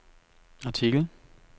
artikel